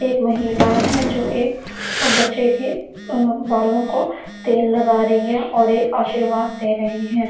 एक महिलाये है जो एक बच्चो के बालो को तेल लगा रही है और एक आशीर्वाद दे रही है ।